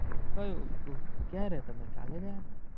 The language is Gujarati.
કયું ઉહ ક્યારે તમે કાલે ગયા હતા?